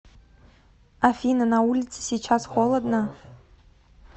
афина на улице сейчас холодно